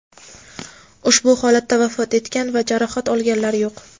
Ushbu holatda vafot etgan va jarohat olganlar yo‘q.